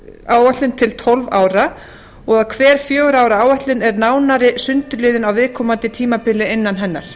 áætlun til tólf ára og að hver fjögurra ára áætlun er nánari sundurliðun á viðkomandi tímabili innan hennar